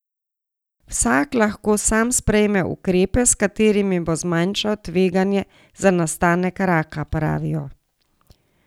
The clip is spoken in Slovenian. Vsak lahko sam sprejme ukrepe, s katerimi bo zmanjšal tveganje za nastanek raka, pravijo.